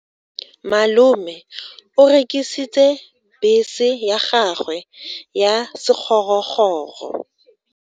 Malome o rekisitse bese ya gagwe ya sekgorokgoro.